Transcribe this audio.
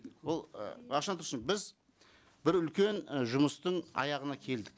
ол ы мағжан тұрсын біз бір үлкен і жұмыстың аяғына келдік